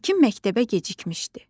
İlkin məktəbə gecikmişdi.